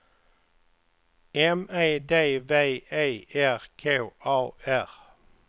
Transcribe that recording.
M E D V E R K A R